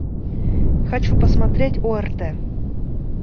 хочу посмотреть орт